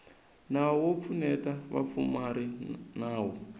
nawu wo pfuneta vapfumari nawu